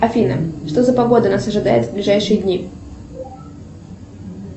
афина что за погода нас ожидает в ближайшие дни